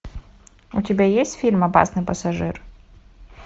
у тебя есть фильм опасный пассажир